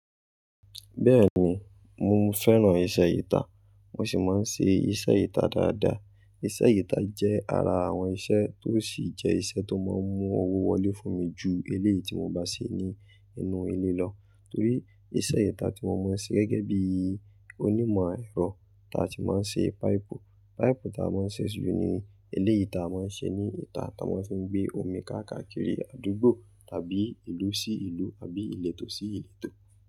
Bẹ́ẹ̀ni, mo fẹ́ràn iṣẹ́ ìtàn, mo sì máa ń ṣe iṣẹ́ ìtàn dáadáa. Iṣẹ́ ìtàn jẹ́ ara àwọn iṣẹ́ tó sì jẹ́ iṣẹ́ tó máa ń mú owó wọlé fún mi ju eléyìí tí mo bá ṣe ní inú ilé lọ. Torí iṣẹ́ ìtàn tí mo máa ń ṣe gẹ́gẹ́ bíi onímọ̀ ẹ̀rọ, táà sì máa ń ṣe páìpù. Páìpù táà máa ń ṣe ju ní eléyìí táa máa ń ṣe ní ìtà táa máa ń fi gbé omi káàkàkiri àdúgbò tàbí ìlú sí ìlú àbí ìletò sí ìletò.